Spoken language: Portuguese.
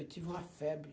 Eu tive uma febre.